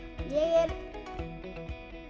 ég